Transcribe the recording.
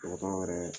Dɔgɔtɔrɔ yɛrɛ